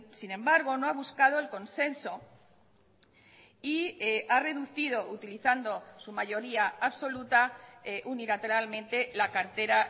sin embargo no ha buscado el consenso y ha reducido utilizando su mayoría absoluta unilateralmente la cartera